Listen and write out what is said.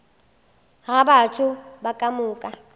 ga batho ba ka moka